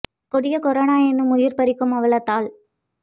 கொடிய கொரோனா எனும் உயிர் பறிக்கும் அவலத்தால்